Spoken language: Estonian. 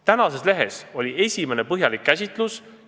Tänases lehes oli esimene põhjalik käsitlus!